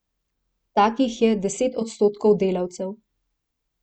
Takih je deset odstotkov delavcev.